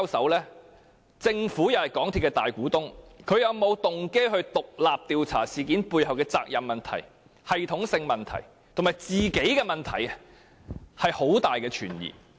鑒於政府是港鐵公司的大股東，政府是否有動機獨立調查事件背後的責任問題、系統性問題及它自己的問題，令人存有很大疑問。